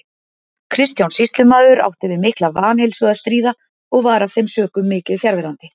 Kristján sýslumaður átti við mikla vanheilsu að stríða og var af þeim sökum mikið fjarverandi.